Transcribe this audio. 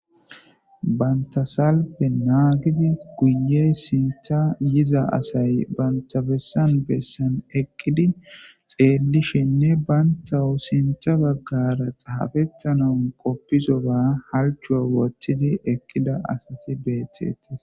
Bantta salfe naagidi guye sinththa yiza asay banta bessa bessa eqqidi xeellishenne bantaw sinththe baggara xaafetanaw qofisoba halchcho woththidi eqqida asati beettes.